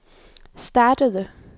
startede